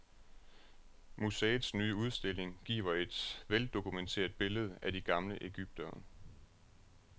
Museets nye udstilling giver et veldokumenteret billede af de gamle egyptere.